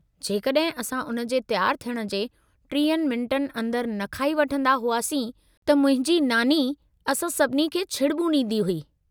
जेकॾहिं असां उन जे तयारु थियण जे 30 मिन्टनि अंदरि न खाई वठंदा हुआसीं त मुंहिंजी नानी असां सभिनी खे छिड़िॿूं ॾींदी हुई।